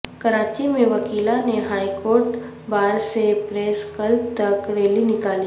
کراچی میں وکلاء نے ہائی کورٹ بار سے پریس کلب تک ریلی نکالی